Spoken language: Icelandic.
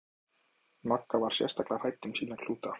Magga var sérstaklega hrædd um sína klúta.